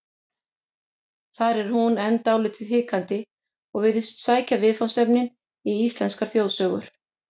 Þar er hún enn dálítið hikandi og virðist sækja viðfangsefnin í íslenskar þjóðsögur.